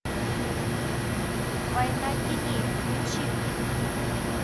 война теней включи мне